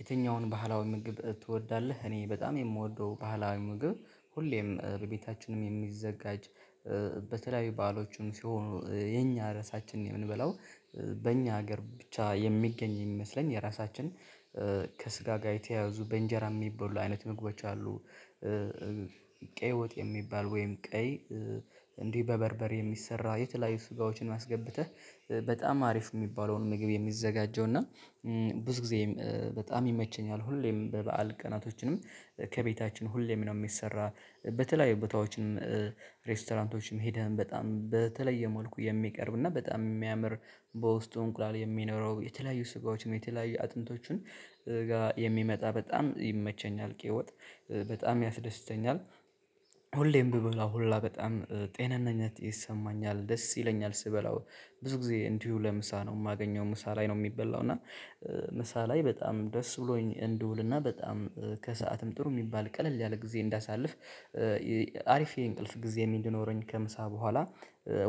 የትኛውን ባህላዊ ምግብ ትወዳለህ? እኔ በጣም የምወደው ባህላዊ ምግብ ሁሌም በቤታችንም የሚዘጋጅ በተለያዊ ባአሎችም ሲሆኑ የኛ ርዕሳችን የምንበላው በእኛ ሀገር ብቻ የሚገኝ የሚመስለኝ የራሳችን ከስጋ ጋ የተያያዙ በእንጀራ የሚበሉ አይነት ምግቦች አሉ። ቀይ ወጥ የሚባል ወይም ቀይ እንዲህ በበርበሬ የሚሰራ የተለያዩ ስጋዎችን አስገብተህ በጣም አሪፍ የሚባለውን ምግብ የሚዘጋጀው እና ብዙ ጊዜም በጣም ይመቸኛል። ሁሌም በበዓል ቀናቶችንም ከቤታችን ሁሌም ነው የሚሰራ በተለያዩ ቦታዎችንም ሬስቶራንቶችንም ሄደን በጣም በተለየ መልኩ የሚቀርብ እና በጣም የሚያምር በውስጡ እንቁላል የሚኖረው የተለያዩ ስጋዎችን የተለያዩ አጥንቶችን ጋ የሚመጣ በጣም ይመቸኛል ቀይ ወት በጣም ያስደስተኛል። ሁሌም ብበላው ሁላ በጣም ጤናኝነት ይሰማኛል ደስ ይለኛል ስበላው ብዙ ጊዜ እንዲሁ ለምሳ ነው የማገኘው ምሳ ላይ ነው የሚበላው እና ምሳ ላይ በጣም ደስ ብሎኝ እንድውልና በጣም ከሰአትም ጥሩ የሚባል ቀለል ያለ ጊዜ እንዳሳልፍ። አሪፍ የእንቅልፍ ጊዜ እንዲኖረኝ ከምሳ በኋላ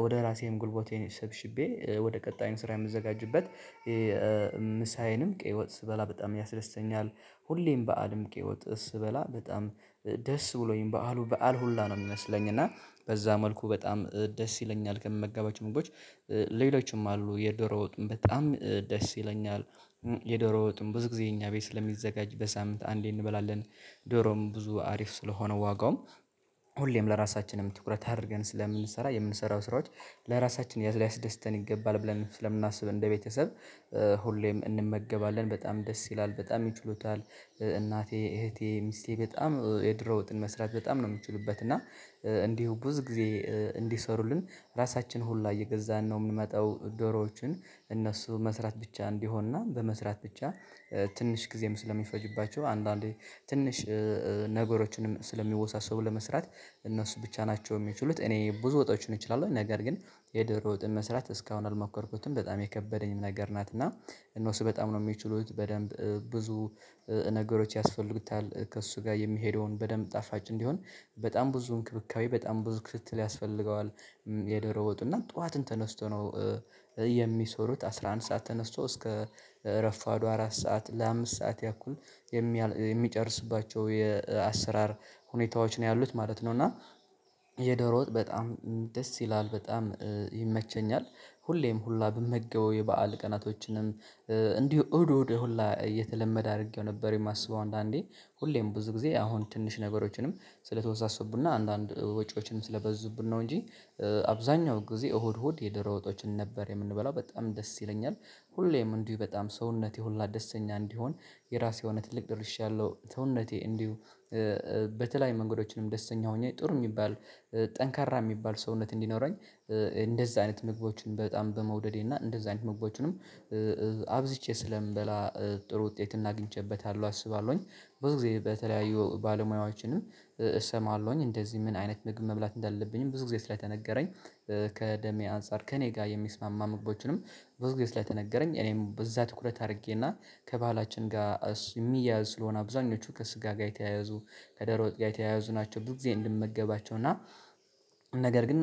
ወደ ራሴም ጉልበቴን ሸብሽቤ ወደ ቀጣይም ስራ የምዘጋጅበት ምሳዬንም ቀይ ወት ስበላ በጣም ያስደስተኛል። ሁሌም በዓልም ቀይወት ስበላ በጣም ደስ ብሎኝ በዓሉ በዓል ሁላ ነው የሚመስለኝ እና በዛ መልኩ በጣም ደስ ይለኛል ከምመገባቸው ምግቦች ሌሎችም አሉ የደሮ ወጥም በጣም ደስ ይለኛል። የደሮ ወጥም ብዙ ጊዜ እኛ ቤት ስለሚዘጋጅ በሳምንት አንዴ እንበላለን ዶሮም ብዙ አሪፍ ስለሆነ ዋጋውም ሁሌም ለራሳችንም ትኩረት አድርገን ስለምንሰራ የምንሰራው ስራዎች ለራሳችን ላይ ሊያስደስተን ይገባል ብለን ስለምናስብ እንደ ቤተሰብ ሁሌም እንመገባለን በጣም ደስ ይላል በጣም ይችሉታል። እናቴ እህቴ ሚስቴ በጣም የድሮ ወጥን መስራት በጣም ነው የምትችሉበት እና እንዲሁ ብዙ ጊዜ እንዲሰሩልን ራሳችን ሁላ እየገዛን ነው የምንመጣው ዶሮዎችን እነሱ መስራት ብቻ እንዲሆንና በመስራት ብቻ ትንሽ ጊዜም ስለሚፈጅባቸው አንዳንዴ ትንሽ ነገሮችንም ስለሚወሳሰቡ ለመስራት እነሱ ብቻ ናቸው የሚችሉት እኔ ብዙ ወጦችን እችላለሁ። ነገር ግን የዶሮ ወጥን መስራት እስካሁን አልሞከርኩትም በጣም የከበደኝም ነገር ናት እና እነሱ በጣም ነው የሚችሉት በደንብ ብዙ ነገሮች ያስፈልጉታል ከእሱ ጋር የሚሄደውን በደንብ ጣፋጭ እንዲሆን በጣም ብዙ እንክብካቤ በጣም ብዙ ክትትል ያስፈልገዋል። የዶሮ ወጡ እና ጠዋትን ተነስቶ ነው የሚሰሩት አስራ አንድ ሰዓት ተነስቶ እስከ እረፋዱ አራት ሰዓት ለአምስት ሰዓት ያኩል የሚያል የሚጨርስባቸው የአሰራር ሁኔታዎች ነው ያሉት ማለት ነው። እና የደሮ ወጥ በጣም ደስ ይላል በጣም ይመቸኛል ሁሌም ሁላ ብመገበው የበአል ቀናቶችንም እንዲሁ እሁድ እሁድ ሁላ እየተለመደ አድርጌው ነበር የማስበው አንዳንዴ ሁሌም ብዙ ጊዜ አሁን ትንሽ ነገሮችንም ስለተወሳሰቡና አንዳንድ ወጪዎችንም ስለበዙብን ነው እንጂ አብዛኛው ጊዜ እሁድ እሁድ የዶሮ ወጦችን ነበር የምንበላው በጣም ደስ ይለኛል። ሁሌም እንዲሁ በጣም ሰውነቴ ሁላ ደስተኛ እንዲሆን የራሴ የሆነ ትልቅ ደርሻአለሁ ሰውነቴ እንዲሁ በተለያዩ መንገዶችንም ደስተኛ ሆኜ ጥሩ የሚባል ጠንካራ የሚባል ሰውነት እንዲኖረኝ እንደዛ አይነት መግቦችን በጣም በመውደዴ እና እንደዛ አይነት መግቦችንም አብዝቼ ስለምበላ ጥሩ ውጤት እግኝቼበታለሁ አስባለሁኝ። ብዙ ጊዜ በተለያዩ ባለሙያዎችንም እሰማለሁኝ እንደዚህ ምን አይነት ምግብ መብላት እንዳለብኝም ብዙ ጊዜ ስለተነገረኝ ከደሜ አንፃር ከእኔ ጋ የሚስማማ ምግቦችንም ብዙ ጊዜ ላይ ስለተነገረኝ እኔም በዛ ትኩረት አድርጌና ከባህላችን ጋር የሚያያዝ ስለሆነ አብዛኞቹ ከስጋ ጋር የተያያዙ ከዶሮ ወጥ ጋር ተያያዙ ናቸው ብዙ ጊዜ እንድመገባቸው እና ነገር ግን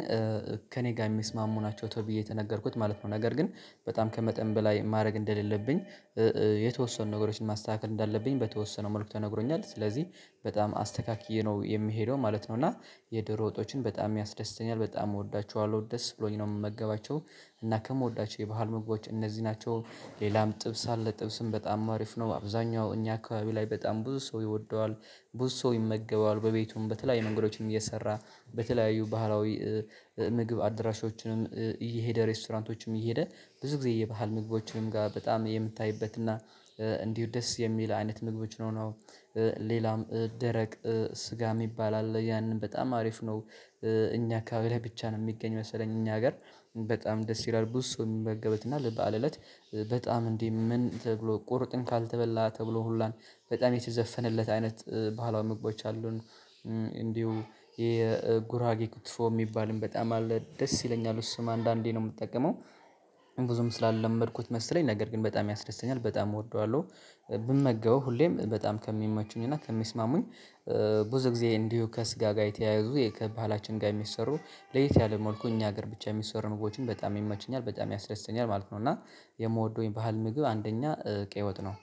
ከእኔ ጋር የሚስማሙ ናቸው ተብዬ የተነገርኩት ማለት ነው። ነገር ግን በጣም ከመጠን በላይ ማድረግ እንደሌለብኝ የተወሰኑ ነገሮችን ማስተካከል እንዳለብኝ በተወሰነ መልኩ ተነግሮኛል ስለዚህ በጣም አስተካክዬ ነው የምሄደው ማለት ነው። እና የዶሮ ወጦችን በጣም ያስደስተኛል በጣም እወዳችኋለሁ ደስ ብሎኝ ነው የምመገባቸው እና ከምወዳቸው የባህል ምግቦች እነዚህ ናቸው። ሌላም ጥብስ አለ ጥብስም በጣም አሪፍ ነው አብዛኛው እኛ አካባቢ ላይ በጣም ብዙ ሰው ይወደዋል ብዙ ሰው ይመገበዋል በቤቱም በተለያየ መንገዶችን እየሰራ በተለያዩ ባህላዊ ምግብ አድራሻዎችንም እየሄደ ሬስቶራንቶችም እየሄደ ብዙ ጊዜ የባህል ምግቦችንም ጋር በጣም የምታይበት እና እንዲሁ ደስ የሚል አይነት ምግቦች ነው ነው። ደረቅ ስጋ የሚባል አለ ያንን በጣም አሪፍ ነው እኛ አካባቢ ላይ ብቻ ነው የሚገኝ መሰለኝ እኛ ሀገር በጣም ደስ ይላል ብዙ ሰው የሚመገብበትና ልበአል እለት በጣም እንዴ ምን ተብሎ ቆርጥም ካልተበላ ተብሎ ሁላ በጣም የተዘፈነለት አይነት ባሀላዊ ምግቦች አሉን። እንዲሁ የጉራጌ ክትፎ የሚባልም በጣም አለ ደስ ይለኛል እሱም አንዳንዴ ነው የምጠቀመው ብዙም ስላለመድኩት መሰለኝ ነገር ግን በጣም ያስደስተኛል በጣም እወደዋለሁ ብመገበው ሁሌም በጣም ከሚመቹኝ እና ከሚስማሙኝ ብዙ ጊዜ እንዲሁ ከስጋ ጋ የተያያዙ የከ ባህላችን ጋር የሚሰሩ ለየት ያለ መልኩ እኛ ሀገር ብቻ የሚሰሩ ምግቦችም በጣም ይመቹኛል በጣም ያስደስተኛል ማለት ነው። እና የምወደው የባህል ምግብ አንደኛ ቀይ ወጥ ነው።